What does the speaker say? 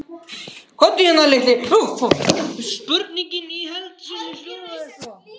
Spurningin í heild sinni hljóðaði svo: